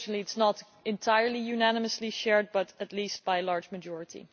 Unfortunately, it is not entirely unanimously shared, but at least by a large majority.